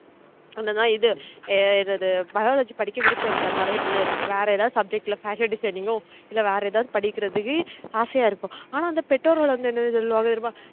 அந்த இது இது இது biology படிக்க விருப்பம் இருக்காது நிறைய பிள்ளைகளுக்கு வேர எதாவது subject ல fashion designing ஓ இல்ல வேர எதவாது படிக்குறதுக்கு ஆசையா இருக்கும் ஆனா அந்த பெற்றோர்கள் வந்து என்ன சொல்லுவாங்கனு தெறியுமா